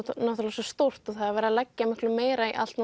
svo stórt og það er verið að leggja miklu meira í allt